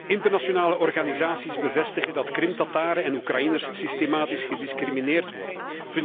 Internationale organisaties bevestigen dat Krim Tataren en Oekraïners systematisch gediscrimineerd worden.